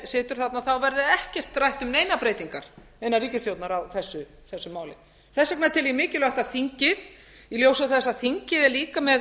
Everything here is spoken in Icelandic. situr þarna verði ekkert rætt um neinar breytingar innan ríkisstjórnar á þessu máli þess vegna tel ég mikilvægt að þingið í ljósi þess að þingið er líka með